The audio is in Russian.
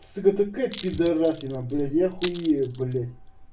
сука такая пидорасина блядь я хуею блядь